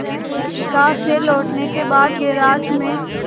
America से लौटने के बाद गैराज में